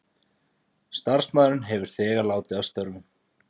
Starfsmaðurinn hefur þegar látið af störfum